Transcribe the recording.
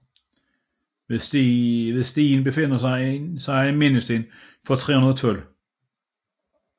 Ved stien befinder der sig en mindesten for 312